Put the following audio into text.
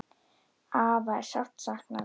Afa er sárt saknað.